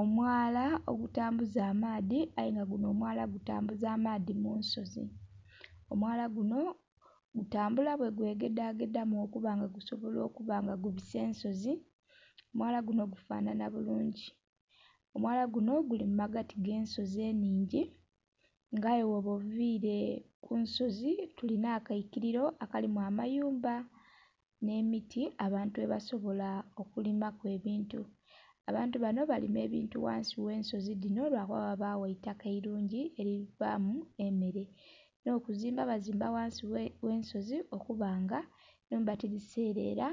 Omwala ogutambuza amaadhi aye nga guno omwala gutambuza amaadhi munsozi, omwala guno gutambula bwegwegedha gedhamu okuba nga gusibola kuba nga gubisa ensozi, omwala guno gufanhanha bulungi. Omwala guno guli mumagati agensozi eningi nga aye bwoba ovire kunsozi tuli nakaikiriro akalimu amayumba n'emiti abantu ghebasobola okulima ku ebintu. Abantu bano balima ebintu ghansi gh'ensozi dhino lwakuba ghabagho eitaka eirungi erivamu emere, n'okuzimba bazimba ghansi gh'ensozi okuba nga enhumba tidhiserera